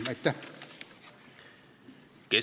Aitäh!